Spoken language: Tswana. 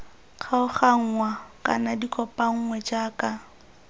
kgaoganngwa kana di kopanngwe jaaka